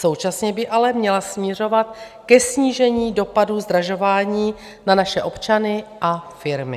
Současně by ale měla směřovat ke snížení dopadů zdražování na naše občany a firmy.